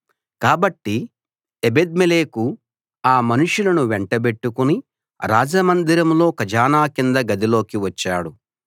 కాబట్టి ఎబెద్మెలెకు ఆ మనుషులను వెంటబెట్టుకుని రాజమందిరంలో ఖజానా కింద గదిలోకి వచ్చాడు